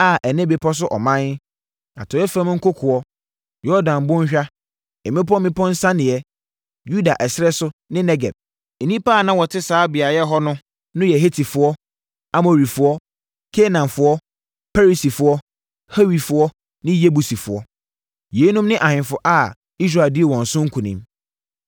a ɛne bepɔ so ɔman, atɔeɛ fam nkokoɔ, Yordan Bɔnhwa, mmepɔ mmepɔ nsianeɛ, Yudea ɛserɛ so ne Negeb. Nnipa a na wɔte saa beaeɛ hɔ no yɛ Hetifoɔ, Amorifoɔ, Kanaanfoɔ, Perisifoɔ, Hewifoɔ ne Yebusifoɔ. Yeinom ne ahemfo a Israel dii wɔn so nkonim: 1